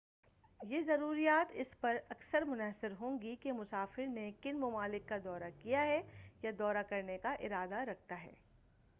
یہ ضروریات اس پر اکثر منحصر ہوں گی کہ مسافر نے کن ممالک کا دورہ کیا ہے یا دورہ کرنے کا ارادہ رکھتا ہے